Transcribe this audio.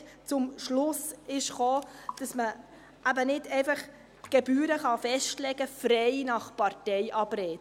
Er kam dort zum Schluss kam, dass man eben nicht einfach Gebühren festlegen kann, frei nach Parteiabrede.